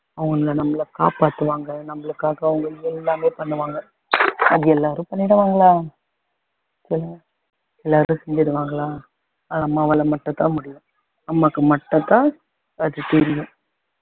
அவங்க நம்மள காப்பாத்துவாங்க நம்மளுக்காக அவங்க எல்லாமே பண்ணுவாங்க அது எல்லாரும் பண்ணிடுவாங்களா எல்லாரும் செஞ்சிடுவாங்களா அம்மாவால மட்டும் தான் முடியும் அம்மாக்கு மட்டும் தான் அது தெரியும்